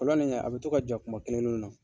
Kolon in kɛ a bɛ to ka ja kuma kelen kelenninw na.